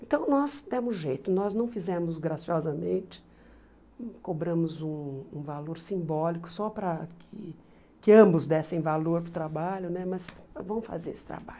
Então nós demos jeito, nós não fizemos graciosamente, cobramos um um valor simbólico só para que que ambos dessem valor para o trabalho né, mas vamos fazer esse trabalho.